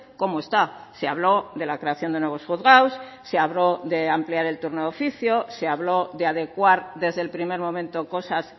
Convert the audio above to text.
cómo está se habló de la creación de nuevos juzgados se habló de ampliar el turno de oficio se habló de adecuar desde el primer momento cosas